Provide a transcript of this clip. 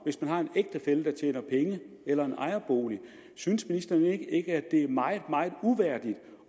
hvis man har en ægtefælle der tjener penge eller en ejerbolig synes ministeren ikke at det er meget meget uværdigt